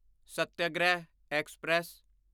satyagraha express